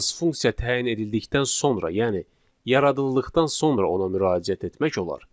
Yalnız funksiya təyin edildikdən sonra, yəni yaradıldıqdan sonra ona müraciət etmək olar.